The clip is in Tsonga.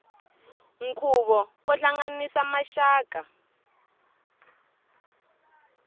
nkhuvo wo hlanganisa maxaka